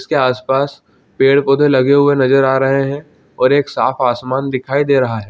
उसके आसपास पेड़- पौधे लगे हुए नज़र आ रहै है और एक साफ़ आसमान दिखाई दे रहा हैं।